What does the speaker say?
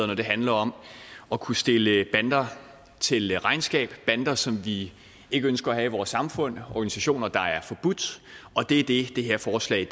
når det handler om at kunne stille bander til regnskab bander som vi ikke ønsker at have i vores samfund organisationer der er forbudt og det er det det her forslag